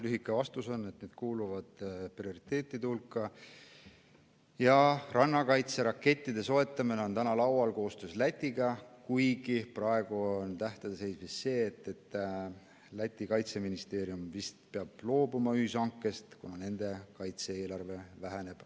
Lühike vastus on, et need kuuluvad prioriteetide hulka ja rannakaitserakettide soetamine on täna laual koostöös Lätiga, kuigi praegu on tähtede seis vist see, et Läti kaitseministeerium peab loobuma ühishankest, kuna nende kaitse-eelarve väheneb.